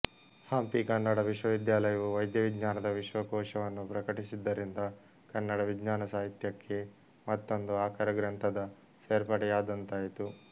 ಹಂಪಿ ಕನ್ನಡ ವಿಶ್ವವಿದ್ಯಾಲಯವು ವೈದ್ಯವಿಜ್ಞಾನದ ವಿಶ್ವಕೋಶವನ್ನು ಪ್ರಕಟಿಸಿದ್ದರಿಂದ ಕನ್ನಡ ವಿಜ್ಞಾನ ಸಾಹಿತ್ಯಕ್ಕೆ ಮತ್ತೊಂದು ಆಕರ ಗ್ರಂಥದ ಸೇರ್ಪಡೆಯಾದಂತಾಯಿತು